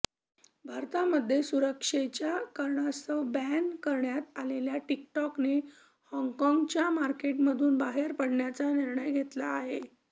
भारतामध्ये सुरक्षेच्या कारणास्तव बॅन करण्यात आलेल्या टिकटॉकने हाँगकाँगच्या मार्केटमधून बाहेर पडण्याचा निर्णय घेतला आहे